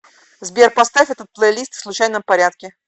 сбер поставь этот плейлист в случайном порядке